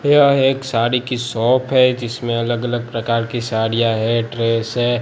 यह एक साड़ी की शॉप है जिसमें अलग अलग प्रकार की साड़ियां है ड्रेस है।